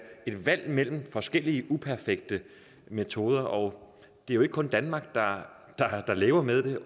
et valg mellem forskellige uperfekte metoder og det er jo ikke kun danmark der lever med det